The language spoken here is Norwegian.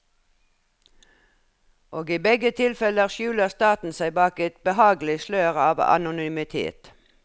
Og i begge tilfeller skjuler staten seg bak et behagelig slør av anonymitet.